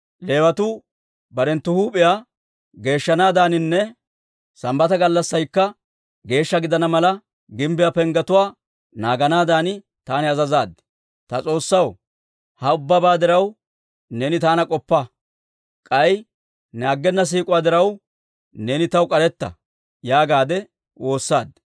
Leewatuu barenttu huup'iyaa geeshshanaadaaninne Sambbata gallassaykka geeshsha gidana mala, gimbbiyaa penggetuwaa naaganaadan taani azazaad. «Ta S'oossaw, ha ubbabaa diraw, neeni taana k'oppa; k'ay ne aggena siik'uwaa diraw, neeni taw k'aretta» yaagaadde woossaad.